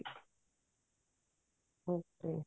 okay